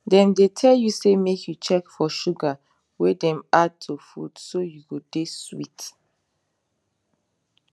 dem dey tell you say make you check for sugar wey dem add to food so you go dey sweet